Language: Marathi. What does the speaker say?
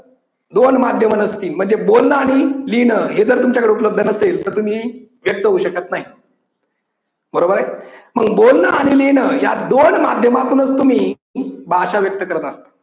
दोन माध्यमं नसती म्हणजे बोलण आणि लिहिण हे जर तुमच्याकडे उपलब्ध नसेल तर तुम्ही व्यक्त होऊ होऊ शकत नाही. बरोबर हाय. मग बोलण आणि लिहिण या दोन माध्यमातूनच तुम्ही भाषा व्यक्त करत असता.